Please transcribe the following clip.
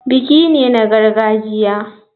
Biki ne na gargajiya.